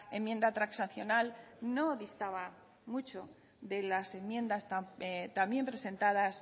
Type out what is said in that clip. enmienda transaccional no distaba mucho de las enmiendas también presentadas